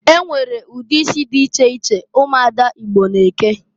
E nwere ụdị isi dị iche iche ụmụada Igbo na-eke.